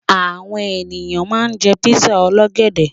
Àwọn ènìyàn ma ń jẹ́ písà ọlọ́gẹ̀dẹ̀